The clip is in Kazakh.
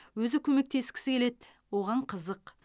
өзі көмектескісі келеді оған қызық